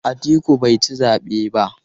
Atiku bai ci zabe ba.